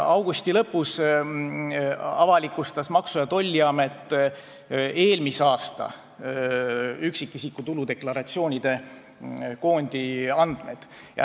Augusti lõpus avalikustas Maksu- ja Tolliamet eelmise aasta üksikisiku tuludeklaratsioonide koondi andmed.